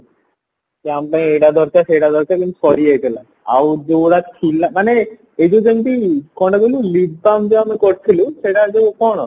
ଯେ ଆମ ପାଇଁ ଏଇଟା ଦରକାର ସେଇଟା ଦରକାର କିନ୍ତୁ ସରିଯାଇଥିଲା ଆଉ ଯୋଉ ଗୁଡା ଥିଲା ମାନେ ଏଇ ଯୋଉ ସେମତି କଣ ଟା କହିଲୁ lip balm ଯୋଉ ଆମେ କରିଥିଲୁ ସେଇଟା ଯୋଉ କଣ